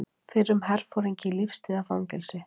Fyrrum herforingi í lífstíðarfangelsi